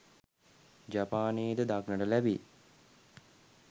ජපානයේ ද දක්නට ලැබේ.